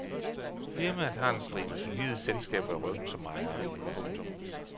Firmaet har en stribe solide selskaber i ryggen som ejere. punktum